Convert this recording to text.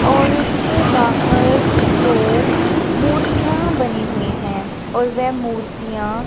और उसके बाहर दो मूर्तियां बनी हुई है और वे मूर्तियां--